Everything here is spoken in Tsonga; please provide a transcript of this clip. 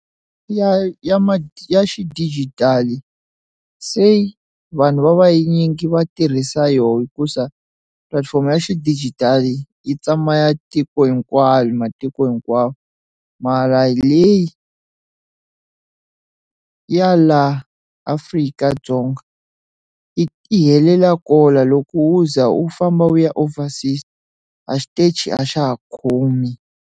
Ya ya ma ya xidijitali se vanhu va vanyingi va tirhisa yona hikusa pulatifomo ya xidijitali yi tsama ya tiko hinkwayo matiko hinkwawo mara leyi ya laha Afrika-Dzonga i ti helela kona loko u za u famba u ya overseas a xitachi a xa ha khomi.